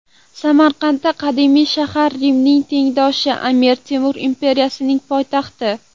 Samarqand qadimiy shahar, Rimning tengdoshi, Amir Temur imperiyasining poytaxti.